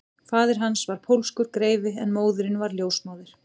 Faðir hans var pólskur greifi en móðirin var ljósmóðir